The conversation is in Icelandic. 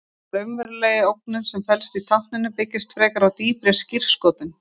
Hin raunverulega ógnun sem felst í tákninu byggist frekar á dýpri skírskotun.